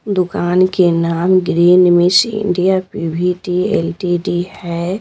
दुकान के नाम green miss India PVT LTD है।